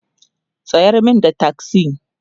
tsayar min da taksi!